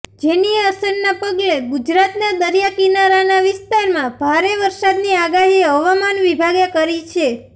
જેની અસરના પગલે ગુજરાતના દરિયા કિનારાના વિસ્તારમાં ભારે વરસાદની આગાહી હવામાન વિભાગે કરી છે